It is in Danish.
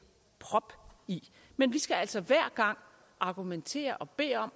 prop i men vi skal altså hver gang argumentere og bede om